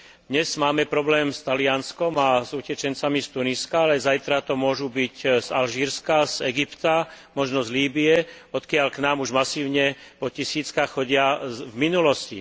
Dnes máme problém s Talianskom a s utečencami z Tuniska, ale zajtra to môžu byť z Alžírska, z Egypta, možno z Líbye, odkiaľ k nám už masívne po tisíckach chodia z minulosti.